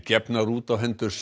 gefnar út á hendur